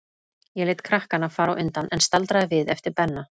Ég lét krakkana fara á undan, en staldraði við eftir Benna.